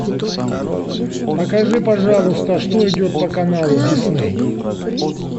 покажи пожалуйста что идет по каналу дисней